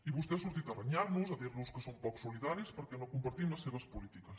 i vostè ha sortit a renyar nos a dir nos que som poc solidaris perquè no compartim les seves polítiques